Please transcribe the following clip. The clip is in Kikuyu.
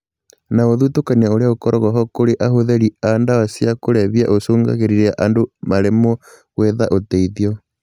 Na ũthutũkania ũrĩa ũkoragwo ho kũrĩ ahũthĩri a ndawa cia kũrebia ũcũngagĩrĩria andũ maremwo gwetha ũteithio